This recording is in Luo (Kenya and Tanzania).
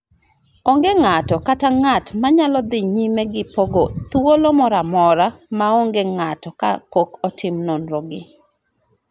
Onge ng�ato kata ng�at ma nyalo dhi nyime gi pong�o thuolo moro amora ma onge ng�ato kapok otimo nonro gi,